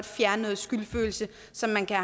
fjerne noget skyldfølelse som man kan